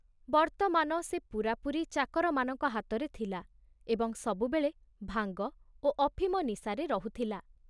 ବର୍ତ୍ତମାନ ସେ ପୂରାପୂରି ଚାକରମାନଙ୍କ ହାତରେ ଥିଲା ଏବଂ ସବୁବେଳେ ଭାଙ୍ଗ ଓ ଅଫିମ ନିଶାରେ ରହୁଥିଲା।